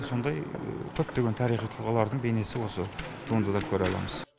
сондай көптеген тарихи тұлғалардың бейнесі осы туындыда көре аламыз